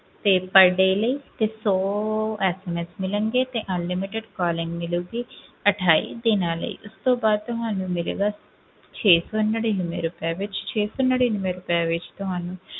ਤੇ per day ਲਈ ਤੇ ਸੌ SMS ਮਿਲਣਗੇ ਤੇ unlimited calling ਮਿਲੇਗੀ ਅਠਾਈ ਦਿਨਾਂ ਲਈ ਉਸ ਤੋਂ ਬਾਅਦ ਤੁਹਾਨੂੰ ਮਿਲੇਗਾ, ਛੇ ਸੌ ਨੜ੍ਹਿਨਵੇਂ ਰੁਪਏ ਵਿੱਚ ਛੇ ਸੌ ਨੜ੍ਹਿਨਵੇਂ ਰੁਪਏ ਵਿੱਚ ਤੁਹਾਨੂੰ,